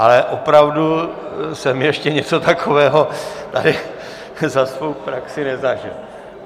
Ale opravdu jsem ještě něco takového tady za svou praxi nezažil.